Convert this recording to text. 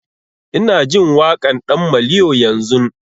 Ina jin waƙan ɗan maliyo yanzun